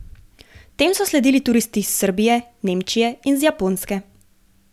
Tem so sledili turisti iz Srbije, Nemčije in z Japonske.